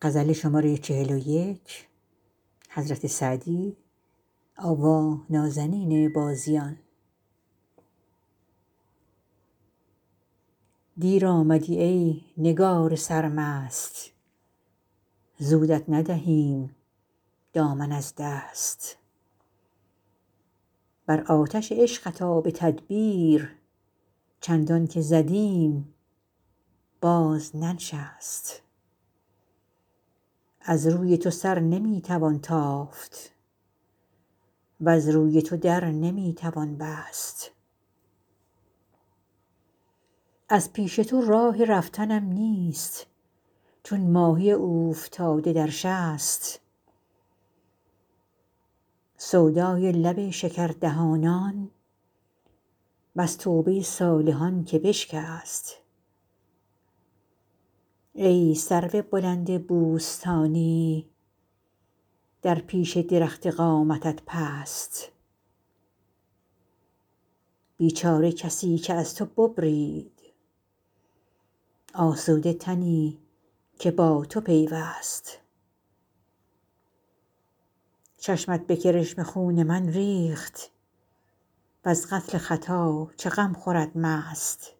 دیر آمدی ای نگار سرمست زودت ندهیم دامن از دست بر آتش عشقت آب تدبیر چندان که زدیم باز ننشست از رای تو سر نمی توان تافت وز روی تو در نمی توان بست از پیش تو راه رفتنم نیست چون ماهی اوفتاده در شست سودای لب شکردهانان بس توبه صالحان که بشکست ای سرو بلند بوستانی در پیش درخت قامتت پست بیچاره کسی که از تو ببرید آسوده تنی که با تو پیوست چشمت به کرشمه خون من ریخت وز قتل خطا چه غم خورد مست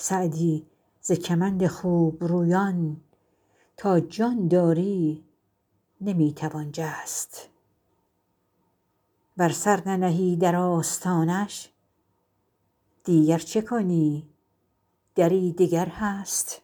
سعدی ز کمند خوبرویان تا جان داری نمی توان جست ور سر ننهی در آستانش دیگر چه کنی دری دگر هست